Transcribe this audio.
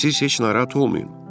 Siz heç narahat olmayın.